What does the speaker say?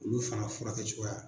Olu fana furakɛcogoya